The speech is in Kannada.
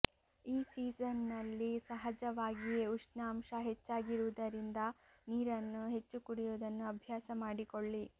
ಈ ಸೀಸನ್ನಲ್ಲಿ ಸಹಜವಾಗಿಯೇ ಉಷ್ಣಾಂಶ ಹೆಚ್ಚಾಗಿರುವುದರಿಂದ ನೀರನ್ನು ಹೆಚ್ಚು ಕುಡಿಯುವುದನ್ನು ಅಭ್ಯಾಸ ಮಾಡಿಕೊಳ್ಳಿ